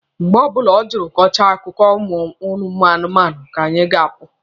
Mgbe ọbụla o jiri kọchaa akụkọ anụmanụ ka anyị ga-apụ.